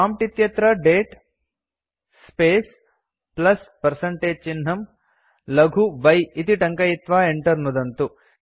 prompt इत्यत्र दते space plus percentage चिह्नं लघु y इति टङ्कयित्वा enter नुदन्तु